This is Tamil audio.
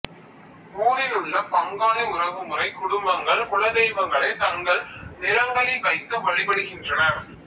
ஊரிலுள்ள பங்காளி உறவுமுறை குடும்பங்கள் குலதெய்வங்களை தங்கள் நிலங்களில் வைத்து வழிபடுகின்றனர்